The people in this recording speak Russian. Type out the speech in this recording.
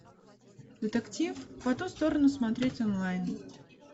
детектив по ту сторону смотреть онлайн